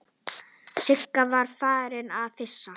Sigga var farin að flissa.